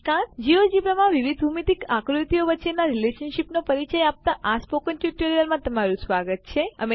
GeoGebra માં વિવિધ ભૂમીતિક આકૃતિઓ વચ્ચેનાં રીલેશનશીપ નો પરિચય આપતા આ સ્પોકન ટ્યુટોરીયલમાં તમારું સ્વાગત છે